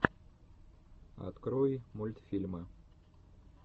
открой мультфильмы